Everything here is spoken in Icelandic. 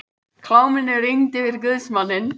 Kláminu rigndi yfir guðsmanninn.